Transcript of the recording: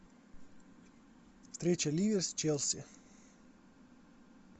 встреча ливер с челси